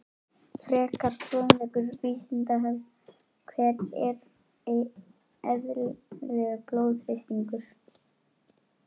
Frekari fróðleikur á Vísindavefnum: Hver er eðlilegur blóðþrýstingur?